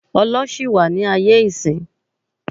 Ọlọ ṣì wà ni aye isin